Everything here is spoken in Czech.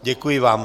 Děkuji vám.